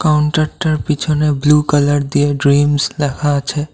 কাউন্টারটার পিছনে blue colour দিয়ে dreams লেখা আছে।